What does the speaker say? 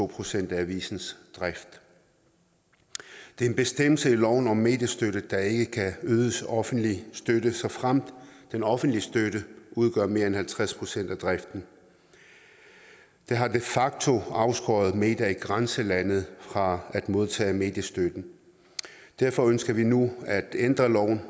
procent af avisens drift det er en bestemmelse i loven om mediestøtte der ikke kan ydes offentlig støtte såfremt den offentlige støtte udgør mere end halvtreds procent af driften det har de facto afskåret medier i grænselandet fra at modtage mediestøtte derfor ønsker vi nu at ændre loven